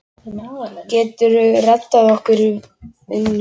Geturðu reddað okkur vinnu?